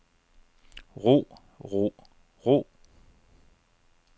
ro ro ro